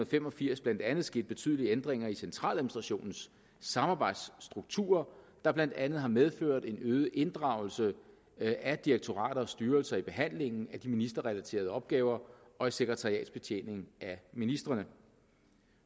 fem og firs blandt andet sket betydelige ændringer i centraladministrationens samarbejdsstrukturer der blandt andet har medført en øget inddragelse af direktorater og styrelser i behandlingen af de ministerrelaterede opgaver og i sekretariatsbetjeningen af ministrene